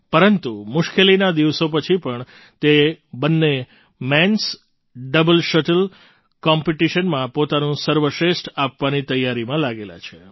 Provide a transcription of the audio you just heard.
પરંતુ આ મુશ્કેલીના દિવસો પછી પણ તે બંને મેન્સ ડબલ શટલ કૉમ્પિટિશનમાં પોતાનું સર્વશ્રેષ્ઠ આપવાની તૈયારીમાં લાગેલા છે